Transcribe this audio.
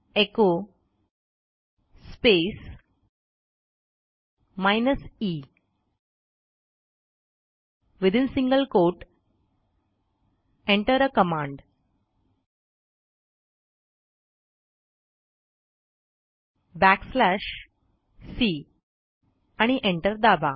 echo space minus E within single quote Enter आ command back slash C आणि enter दाबा